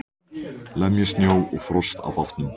Lemja snjó og frost af bátnum.